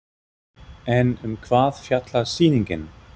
En um hvað fjallar sýningin?